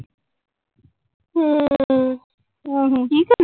ਹਮ ਆਹੋ ।